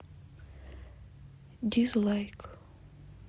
дизлайк